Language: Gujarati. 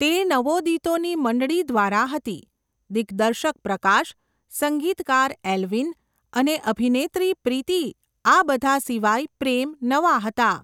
તે નવોદિતોની મંડળી દ્વારા હતી, દિગ્દર્શક પ્રકાશ, સંગીતકાર એલ્વિન અને અભિનેત્રી પ્રીતિ આ બધા સિવાય પ્રેમ નવા હતા.